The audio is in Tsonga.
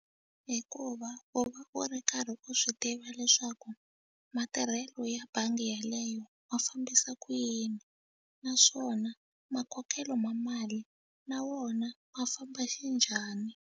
Hikuva u va u ri karhi u swi tiva leswaku matirhelo ya bangi yeleyo ma fambisa ku yini naswona makokelo ma mali na wona ma famba xinjhani.